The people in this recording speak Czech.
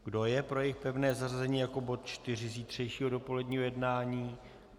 Kdo je pro jejich pevné zařazení jako bod čtyři zítřejšího dopoledního jednání?